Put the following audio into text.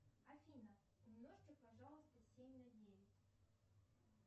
афина умножьте пожалуйста семь на девять